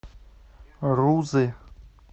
рузы